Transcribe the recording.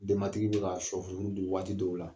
Denmatigi be ka sɔ furufuru dun waati dɔw la.